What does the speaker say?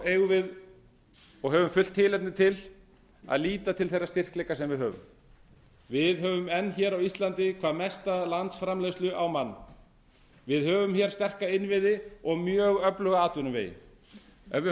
eigum við og höfum fullt tilefni til að líta til þeirra styrkleika sem við höfum við höfum enn hér á íslandi hvað mesta landsframleiðslu á mann við höfum sterka innviði og mjög öfluga atvinnuvegi ef við